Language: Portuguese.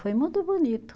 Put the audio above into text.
Foi muito bonito.